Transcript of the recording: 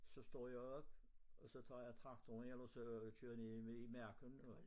Så står jeg op og så tager jeg traktoren ellers og kører ned i i marken go